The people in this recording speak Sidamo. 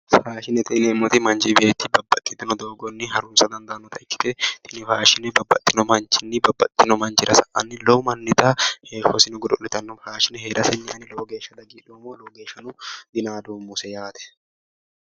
Faashinete yineemmoti manchi beetti babbaxitino doogonni harunsa dandaannota ikkite tini faashine babbaxino manchiwiinni babbaxino manniwa sa'anno lowobmannita heeshshosi godo'litanno faashine heeraseni ani lowo geeshsha dadilloommo lowo geeshsha dinaadoommose yaate.